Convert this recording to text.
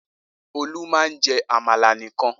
Olú máa ń jẹ àmàlà nìkan.